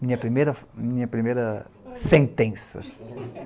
Minha primeira, minha primeira sentença.